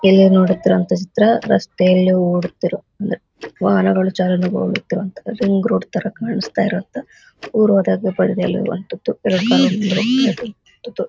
ಎಲ್ಲರು ನೋಡುತ್ತಿತುವಂತಹ ಚಿತ್ರ ರಸ್ತೆಯಲ್ಲಿ ಓಡೋತಿರುವ ಅಂದರೆ ವಾಹನಗಳು ಚಲನ ರಿಂಗ್ ರೋಡ್ ತರ ಕಾಣಿಸ್ತಾ ಇರುವಂತಹ ಉರ್ ಹೋದಾಗ ಬಡಿದು ನಿಲ್ಲುವಂತದ್ದು ಇತ್ತು .